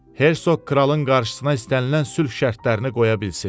Hersoq kralın qarşısına istənilən sülh şərtlərini qoya bilsin.